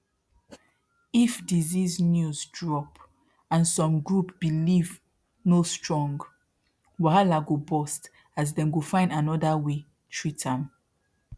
if disease news drop and some group believe no strong wahala go burst as dem go find another way treat am